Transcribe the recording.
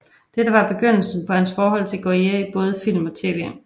Dette var begyndelsen på hans forhold til Goyer i både film og tv